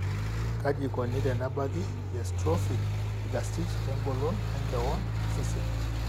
kaji eikoni tenebaki eatrophic egastiritis engolon enkewon osesen?